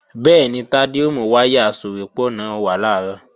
Bẹ́ẹ̀ni, Tádé ó mú wáyà asòwépọ̀ náà wá làárọ̀